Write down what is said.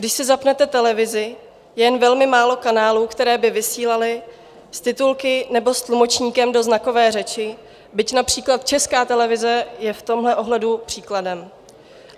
Když si zapnete televizi, je jen velmi málo kanálů, které by vysílaly s titulky nebo s tlumočníkem do znakové řeči, byť například Česká televize je v tomhle ohledu příkladem.